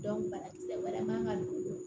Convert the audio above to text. banakisɛ wɛrɛ man ka don